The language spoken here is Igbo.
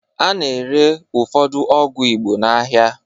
A na-ere ụfọdụ ọgwụ Igbo n'ahịa